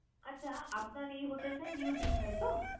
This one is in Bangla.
আচ্ছা আপনার এই hotel টা new দিঘায় তো?